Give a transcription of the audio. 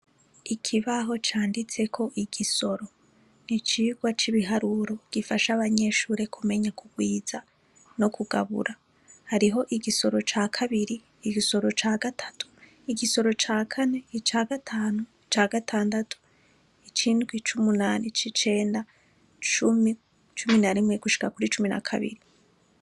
Ikibaho canditseko igisoro, icirwa c'ibiharuro gifasha abanyeshure kumenya kurwiza no kugabura. Hariho igisoro ca kabiri, igisoro ca kabiri, igisoro ca gatatu, igisoro ca kane, ica gatanu ica gatandatu, ic'indwi, ic'umunani, ic'icenda, cumi, cumi na rimwe, gushika kuri cumi na kabiri.